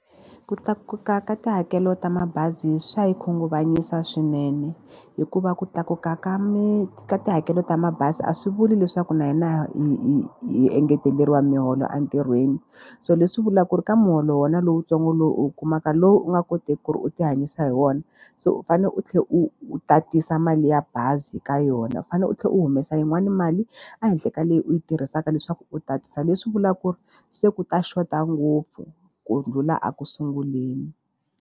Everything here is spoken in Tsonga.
Ku tlakuka ka tihakelo ta mabazi swa hi khunguvanyisa swinene. Hikuva ku tlakuka ka ka tihakelo ta mabazi a swi vuli leswaku na hina hi hi hi engeteleriwa miholo entirhweni. So leswi vulaka ku ri ka muholo wa wena lowutsongo lowu u wu kumaka, lowu u nga koteki ku ri u ti hanyisa hi wona, se u fanele u tlhela u u tatisa mali ya bazi ka yona. U fanele u tlhela u humesa yin'wani mali ehenhla ka leyi u yi tirhisaka leswaku u tatisa, leswi vulaka ku ri se ku ta xota ngopfu ku ndlhula eku sunguleni.